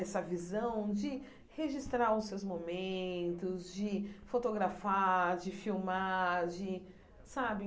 essa visão de registrar os seus momentos, de fotografar, de filmar, de sabe?